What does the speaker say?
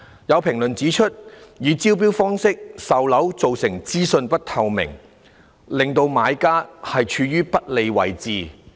有評論指出，以招標方式售樓造成資訊不透明，令準買家處於不利位置。